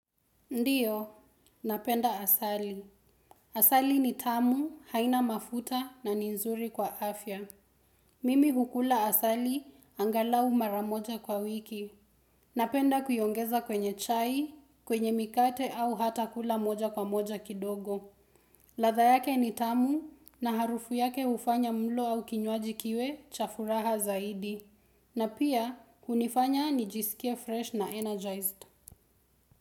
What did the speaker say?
Ndiyo, napenda asali. Asali ni tamu haina mafuta na nizuri kwa afya. Mimi hukula asali angalau maramoja kwa wiki. Napenda kuongeza kwenye chai, kwenye mikate au hata kula moja kwa moja kidogo. Ladha yake ni tamu na harufu yake hufanya mlo au kinywaji kiwe cha furaha zaidi. Na pia kunifanya nijisikia fresh na energized.